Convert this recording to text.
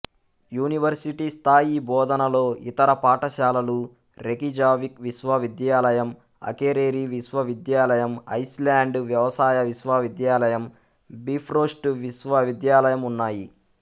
యూనివర్శిటీస్థాయి బోధనలో ఇతర పాఠశాలలు రేకిజావిక్ విశ్వవిద్యాలయం అకేరెరి విశ్వవిద్యాలయం ఐస్ల్యాండ్ వ్యవసాయ విశ్వవిద్యాలయం బిఫ్రోస్ట్ విశ్వవిద్యాలయం ఉన్నాయి